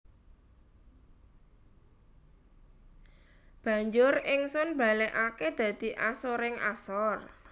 Banjur Ingsun balekake dadi asoring asor